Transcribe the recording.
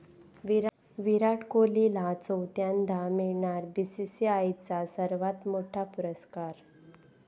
विराट कोहलीला चौथ्यांदा मिळणार बीसीसीआयचा सर्वात मोठा पुरस्कार